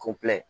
Ko